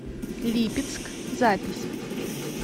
липецк запись